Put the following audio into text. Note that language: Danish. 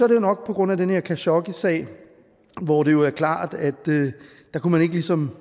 det jo nok på grund af den her khashoggisag hvor det jo er klart at man ligesom